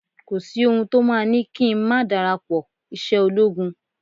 Kò sí ohun to máa ni kí n ma darapo ise ologun